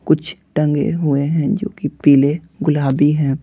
कुछ टंगे हुए हैं जो कि पीले गुलाबी हैं।